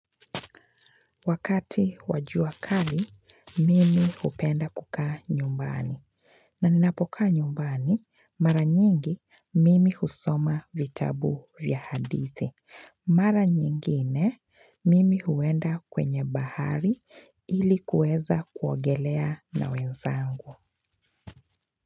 Wakati wa jua kali, mimi hupenda kukaa nyumbani. Na ninapoka nyumbani, mara nyingi mimi husoma vitabu vya hadithi. Mara nyingine, mimi huenda kwenye bahari ili kueza kuogelea na wenzangu.